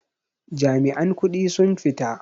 Jami'an kudi sun fita.